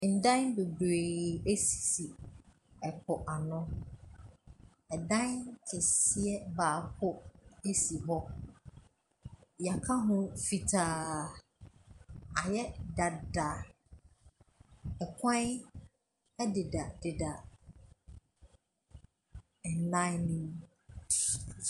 Adan bebree sisi mpoano. Ɛdan kɛseɛ baako si hɔ. Wɔaka ho fitaa. Ayɛ dada. Akwan dedadeda adan no mu.